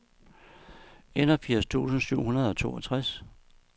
enogfirs tusind syv hundrede og toogtres